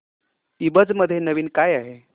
ईबझ मध्ये नवीन काय आहे